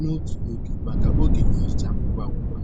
n'otu oge maka oge nhicha ngwa ngwa.